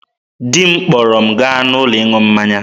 Di m kpọrọ m gaa n'ụlọ ịṅụ mmanya.